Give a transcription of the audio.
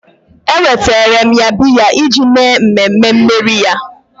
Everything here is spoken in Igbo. Ewetara m ya biya iji mee mmemme mmeri ya